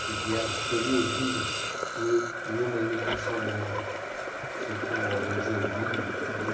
que vieram, teriam vindo num numa imigração alemã, que chegou ali em Joinville, por ali.